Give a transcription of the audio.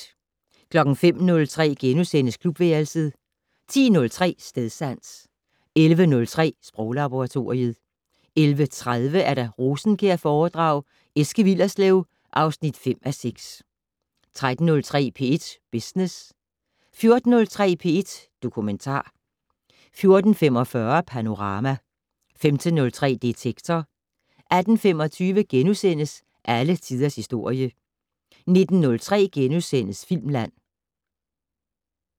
05:03: Klubværelset * 10:03: Stedsans 11:03: Sproglaboratoriet 11:30: Rosenkjærforedrag: Eske Willerslev (5:6) 13:03: P1 Business 14:03: P1 Dokumentar 14:45: Panorama 15:03: Detektor 18:25: Alle tiders historie * 19:03: Filmland *